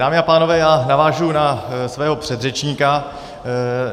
Dámy a pánové, já navážu na svého předřečníka.